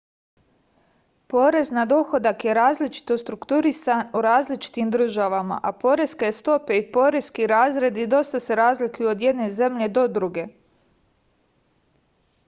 porez na dohodak je različito strukturisan u različitim državama a poreske stope i poreski razredi dosta se razlikuju od jedne zemlje do druge